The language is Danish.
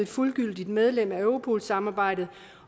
fuldgyldigt medlem af europol samarbejdet